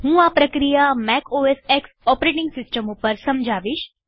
હું આ પ્રક્રિયા મેકોસ્ક્સ ઓપરેટીંગ સિસ્ટમ ઉપર સમજાવીશ